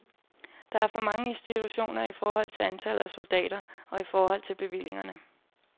Der er for mange institutioner i forhold til antallet af soldater og i forhold til bevillingerne.